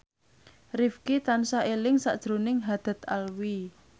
Rifqi tansah eling sakjroning Haddad Alwi